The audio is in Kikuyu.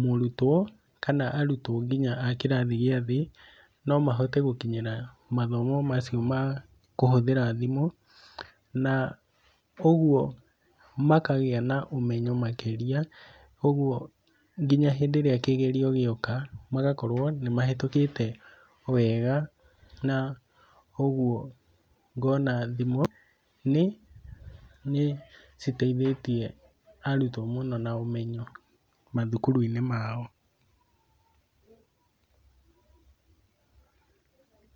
mũrutwo kana arutwo nginya a kĩrathi gĩa thĩ no mahote gũkinyĩra mathomo macio ma kũhũthĩra thimũ, na ũguo makagĩa na ũmenyo makĩria. Ũguo nginya hĩndĩ ĩrĩa kĩgerio gĩoka magakorwo nĩ mahĩtũkĩte wega. Na ũguo ngona thimũ nĩ citeithĩtie arutwo mũno na ũmenyo mathukuru-inĩ mao.